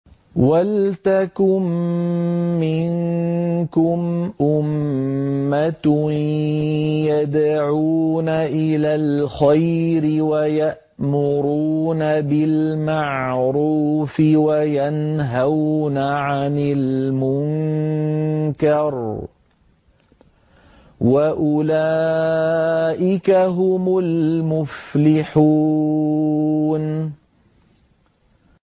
وَلْتَكُن مِّنكُمْ أُمَّةٌ يَدْعُونَ إِلَى الْخَيْرِ وَيَأْمُرُونَ بِالْمَعْرُوفِ وَيَنْهَوْنَ عَنِ الْمُنكَرِ ۚ وَأُولَٰئِكَ هُمُ الْمُفْلِحُونَ